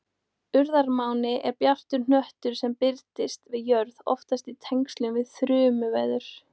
Urðarmáni er bjartur hnöttur sem birtist við jörð, oftast í tengslum við þrumuveður.